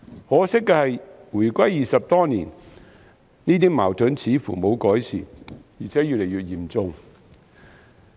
可惜的是回歸已20多年，這些矛盾似乎沒有改善，而且越見嚴重。